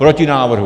Proti návrhu.